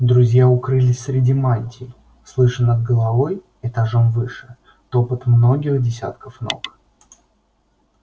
друзья укрылись среди мантий слыша над головой этажом выше топот многих десятков ног